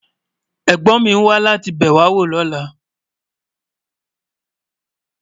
Ẹ̀gbón mi ń wà láti bẹwọ́ lọ́lá.